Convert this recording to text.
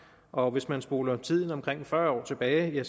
og hvis man spoler tiden omkring fyrre år tilbage